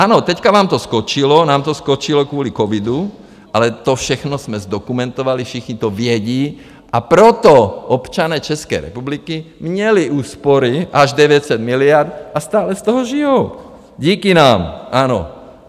Ano, teď vám to skočilo, nám to skočilo kvůli covidu, ale to všechno jsme zdokumentovali, všichni to vědí a proto občané České republiky měli úspory až 900 miliard a stále z toho žijí, díky nám, ano.